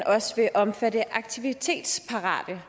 også vil omfatte aktivitetsparate